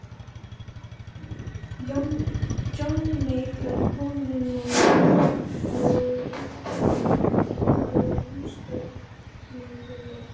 Johnny Mate var kominn og var á einhvern hátt tengdur ísdrottningunni.